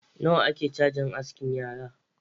Nawa ake chajin askin yara?.